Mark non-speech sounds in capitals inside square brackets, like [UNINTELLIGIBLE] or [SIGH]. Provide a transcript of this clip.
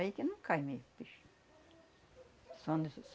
Aí que não cai mesmo, bicho. [UNINTELLIGIBLE]